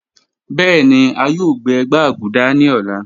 Bẹẹni a yoo gbẹ gbaguda ni ọla